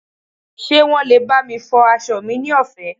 ṣe wan lè bami fọ aso mi ni ọfẹ